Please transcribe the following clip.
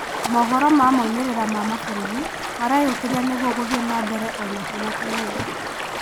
Mohoro ma moimĩrĩra ma mabũrũri mareyũkĩrĩria nĩguo gũthiĩ nambere onakwĩna kĩng'ũki